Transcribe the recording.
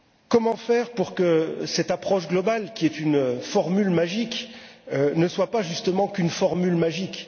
Comment faire pour que cette approche globale, qui est une formule magique, ne soit pas, justement, qu'une formule magique?